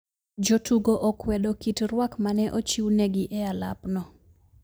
Jotugo okwedo kit rwak mane ochiu negi e alap no